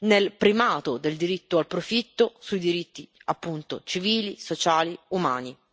nel primato del diritto al profitto sui diritti, appunto, civili, sociali e umani.